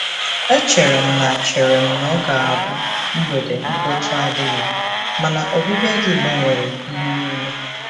E chere m na chere m na ọ ga-abụ mgbede mkpọtụ adịghị, mana ọbịbịa gị gbanwere ihe niile.